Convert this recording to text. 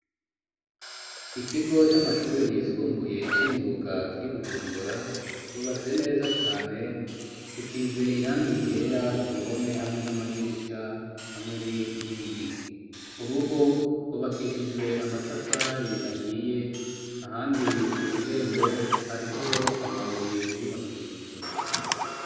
Ikigo c'amashure yisumbuye c'imyuga kiri bujumbura cubatse neza cane gisize irangi ryera ku ruhome hamwe n'amadirisha hamwe n'inkingi ku rugo rwubakishijwe amatafari ahiye ahandi kw'irembo hariho amabuye bubakishije.